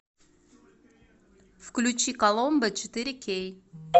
включи коломбо четыре кей